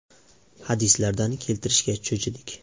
hadislaridan keltirishga cho‘chidik.